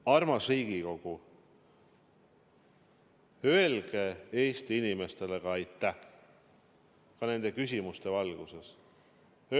Armas Riigikogu, öelge Eesti inimestele aitäh ka nende küsimuste valguses!